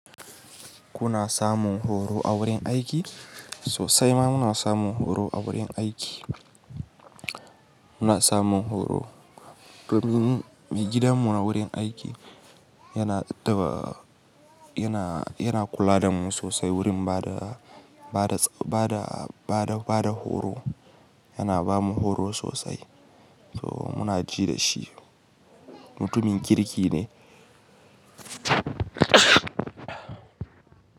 Kuna samun horo a wurin aiki? Sosai ma muna samun horo a wurin aiki. Muna samun horo. Domin me gidanmu a wurin aiki yana ta, yana, yana kula da mu sosai wurin bada, bada, bada, bada, bada horo. Yana bamu horo sosai, to muna ji da shi mutumin kirki ne.